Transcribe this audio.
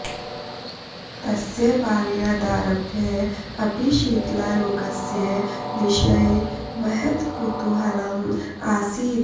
तस्य बाल्यादारभ्य अपि शीतलारोगस्य विषये महत् कुतूहलम् आसीत्